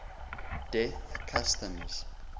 death customs